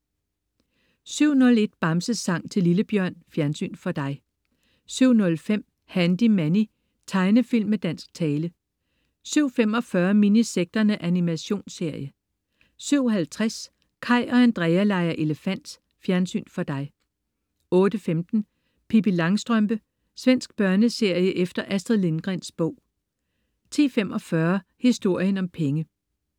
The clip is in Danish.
07.01 Bamses sang til lillebjørn. Fjernsyn for dig 07.05 Handy Manny. Tegnefilm med dansk tale 07.45 Minisekterne. Animationsserie 07.50 Kaj og Andrea leger elefant. Fjernsyn for dig 08.15 Pippi Langstrømpe. Svensk børneserie efter Astrid Lindgrens bog 10.45 Historien om penge